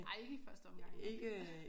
Nej ikke i første omgang nok